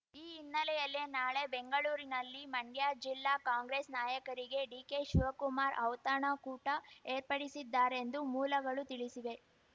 ಈ ಹಿನ್ನೆಲೆಯಲ್ಲಿ ನಾಳೆ ಬೆಂಗಳೂರಿನಲ್ಲಿ ಮಂಡ್ಯ ಜಿಲ್ಲಾ ಕಾಂಗ್ರೆಸ್ ನಾಯಕರಿಗೆ ಡಿಕೆ ಶಿವಕುಮಾರ್ ಔತಣಕೂಟ ಏರ್ಪಡಿಸಿದ್ದಾರೆಂದು ಮೂಲಗಳು ತಿಳಿಸಿವೆ